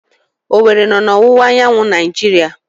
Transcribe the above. Owere nọ na ọwụwa anyanwụ Naijiria